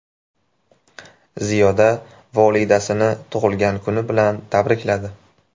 Ziyoda volidasini tug‘ilgan kuni bilan tabrikladi.